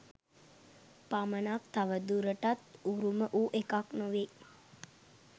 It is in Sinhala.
පමණක් තවදුරටත් උරුම වූ එකක් නොවේයි.